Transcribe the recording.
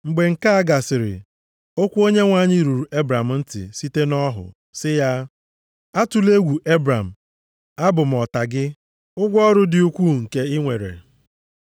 Mgbe nke a gasịrị, okwu Onyenwe anyị ruru Ebram site nʼọhụ, sị ya, “Atụla egwu, Ebram Abụ m ọta gị, ụgwọ ọrụ dị ukwu nke i nwere.”